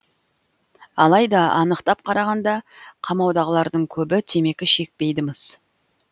алайда анықтап қарағанда қамаудағылардың көбі темекі шекпейді мыс